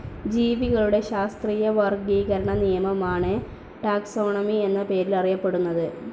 ജീവികളുടെ ശാസ്ത്രീയ വർഗീകരണ നിയമമാണ് ടാക്സോണമി എന്ന പേരിലറിയപ്പെടുന്നത്.